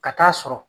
Ka taa sɔrɔ